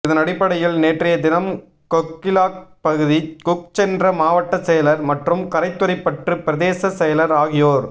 இதனடிப்படையில் நேற்றய தினம் கொக்கிளாய் பகுதிக் குச் சென்ற மாவட்ட செயலா் மற்றும் கரைதுறைப்பற்று பிரதேச செயலா் ஆகியோா்